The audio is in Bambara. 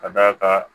Ka d'a kan